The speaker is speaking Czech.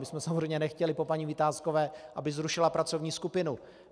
My jsme samozřejmě nechtěli po paní Vitáskové, aby zrušila pracovní skupinu.